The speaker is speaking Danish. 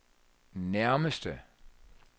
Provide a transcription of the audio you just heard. nærmeste